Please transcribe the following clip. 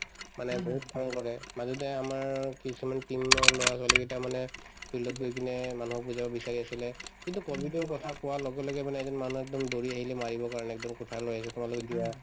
মানে বহুত মন কৰে মাজতে আমাৰ কিছুমান team ৰ লৰা-ছোৱালীকেইটামানে field ত গৈ কিনে মানুহক বুজাব বিচাৰি আছিলে কিন্তু কভিডৰ কথা কোৱাৰ লগে লগে মানে এজন মানুহ একদম দৌৰি আহিলে মাৰিবৰ কাৰণে একদম কুঠাৰ লৈ আহিছো তোমালোকে যোৱা